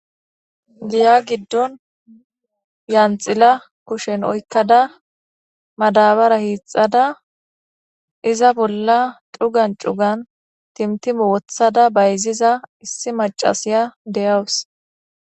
Dera gidon yanxila jushe oykada madabara hixada iza bolla cugan cugan timtime wothada bayziza issi macasiya dea'wus